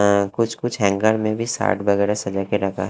अ कुछ-कुछ हैंगर में भी सार्ट वगैरह सजा के रखा है।